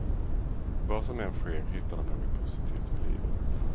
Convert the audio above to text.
Vad som än sker hittar de något positivt med livet.